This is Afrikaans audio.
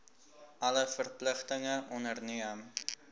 alle verpligtinge onderneem